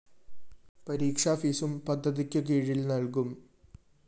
പരീക്ഷാ ഫീസും പദ്ധതിക്കു കീഴില്‍ നല്‍കും